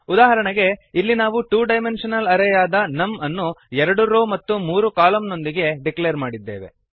ಉದಾಹರಣೆಗೆ ಇಲ್ಲಿ ನಾವು ಟು ಡೈಮೆಂಶನಲ್ ಅರೇ ಯಾದ ನಮ್ ಅನ್ನು ಎರಡು ರೋ ಮತ್ತು ಮೂರು ಕಾಲಮ್ ನೊಂದಿಗೆ ಡಿಕ್ಲೇರ್ ಮಾಡಿದ್ದೇವೆ